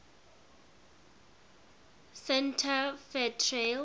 santa fe trail